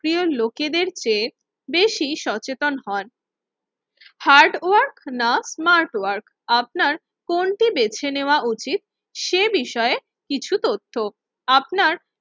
প্রিয় লোকেদের চেয়ে বেশি সচেতন হয়। হার্ড ওয়ার্ক না স্মার্ট ওয়ার্ক আপনার কোনটি বেছে নেওয়া উচিত, সে বিষয়ে কিছু তথ্য আপনার